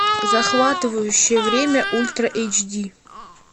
захватывающее время ультра эйч ди